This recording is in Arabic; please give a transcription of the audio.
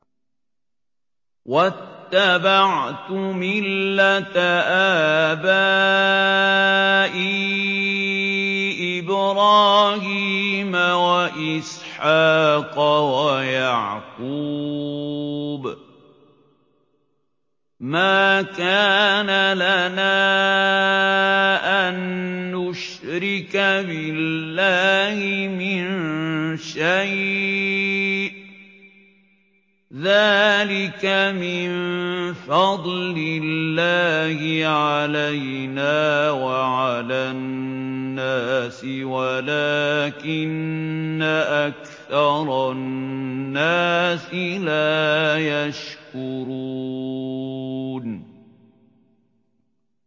وَاتَّبَعْتُ مِلَّةَ آبَائِي إِبْرَاهِيمَ وَإِسْحَاقَ وَيَعْقُوبَ ۚ مَا كَانَ لَنَا أَن نُّشْرِكَ بِاللَّهِ مِن شَيْءٍ ۚ ذَٰلِكَ مِن فَضْلِ اللَّهِ عَلَيْنَا وَعَلَى النَّاسِ وَلَٰكِنَّ أَكْثَرَ النَّاسِ لَا يَشْكُرُونَ